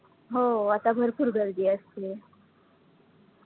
हो आता भरपूर गर्दी असते.